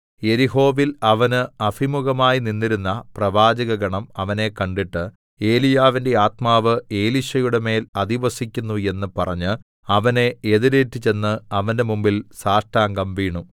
യെരിഹോവിൽ അവന് അഭിമുഖമായി നിന്നിരുന്ന പ്രവാചകഗണം അവനെ കണ്ടിട്ട് ഏലീയാവിന്റെ ആത്മാവ് എലീശയുടെമേൽ അധിവസിക്കുന്നു എന്ന് പറഞ്ഞ് അവനെ എതിരേറ്റുചെന്ന് അവന്റെ മുമ്പിൽ സാഷ്ടാംഗം വീണു